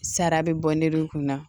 Sara bɛ bɔ ne dun kun na